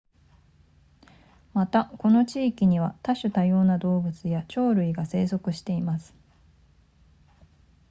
またこの地域には多種多様な動物や鳥類が生息しています